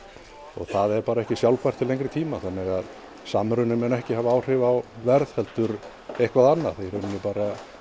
og það er bara ekki sjálfbært til langs tíma þannig að samruni mun ekki hafa áhrif á verð heldur eitthvað annað í rauninni bara